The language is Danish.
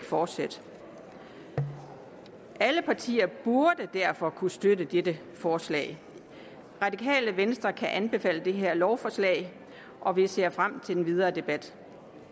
fortsætte alle partier burde derfor kunne støtte dette forslag radikale venstre kan anbefale det her lovforslag og vi ser frem til den videre debat